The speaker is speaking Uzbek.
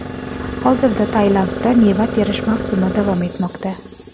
Hozirda Tailandda meva terish mavsumi davom etmoqda.